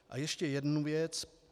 A ještě jednu věc.